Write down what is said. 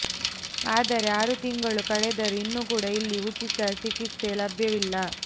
ಆದರೆ ಆರು ತಿಂಗಳು ಕಳೆದರೂ ಇನ್ನು ಕೂಡ ಇಲ್ಲಿ ಉಚಿತ ಚಿಕಿತ್ಸೆ ಲಭ್ಯವಾಗಿಲ್ಲ